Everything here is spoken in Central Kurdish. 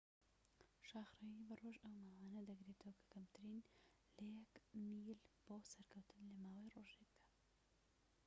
شاخڕەویی بە ڕۆژ ئەو ماوانە دەگرێتەوە کە کەمترن لە یەك میل بۆ سەرکەوتن لە ماوەی ڕۆژێکدا